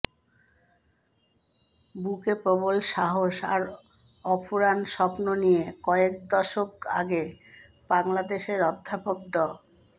বুকে প্রবল সাহস আর অফুরান স্বপ্ন নিয়ে কয়েক দশক আগে বাংলাদেশের অধ্যাপক ড